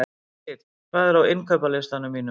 Liv, hvað er á innkaupalistanum mínum?